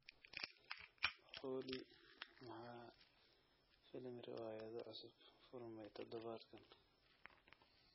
olly maxaa filim riwaayado cusub furmay todobaadkan